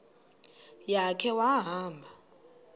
ya khe wahamba